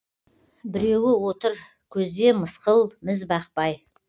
біреуі отыр көзде мысқыл міз бақпай